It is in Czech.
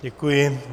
Děkuji.